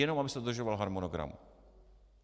Jenom aby se dodržoval harmonogram.